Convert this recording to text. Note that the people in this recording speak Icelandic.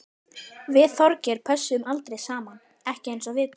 Við Þorgeir pössuðum aldrei saman, ekki eins og við tvö.